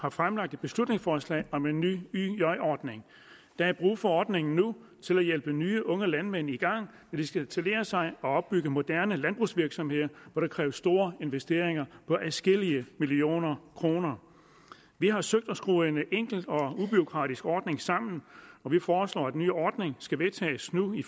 har fremsat et beslutningsforslag om en ny yj ordning der er brug for ordningen nu til at hjælpe nye unge landmænd i gang når de skal etablere sig og opbygge moderne landbrugsvirksomheder hvor der kræves store investeringer på adskillige millioner kroner vi har søgt at skrue en enkel og ubureaukratisk ordning sammen og vi foreslår at den nye ordning skal vedtages nu i